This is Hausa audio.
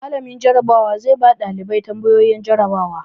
Mallamin Jarabawa zai ba ɗalibai tambayoyi jarabawa.